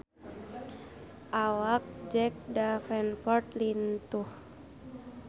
Awak Jack Davenport lintuh